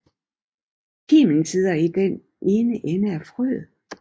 Kimen sidder i den ene ende af frøet